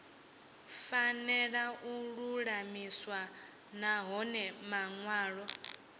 fanela u lulamiswa nahone manwalo